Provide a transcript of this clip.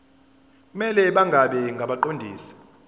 kumele bangabi ngabaqondisi